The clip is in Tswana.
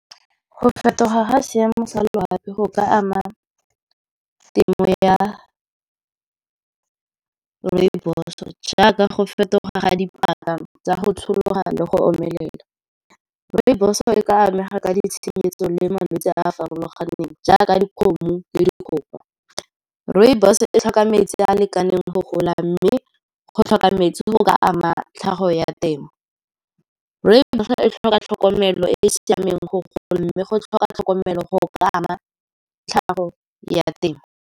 Go fetoga ga seemo sa loapi go ka ama temo ya rooibos, jaaka go fetoga ga dipaka tsa go tshologa le go omelela. Rooibos-o e ka amega ka ditshenyetso le malwetse a a farologaneng, jaaka dikgomo le dikgogo. Rooibos e tlhoka metsi a a lekaneng go gola, mme go tlhoka metsi go ka ama tlhago ya temo. Rooibos e tlhoka tlhokomelo e e siameng gore e gole, mme go tlhoka tlhokomelo go ka ama tlhago ya temo.